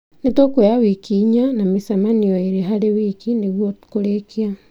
Nĩtũkuoya wiki inya ,na mĩcemanio ĩĩrĩ harĩ wiki nĩguo kũrĩkia